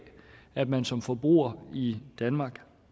at man som forbruger i danmark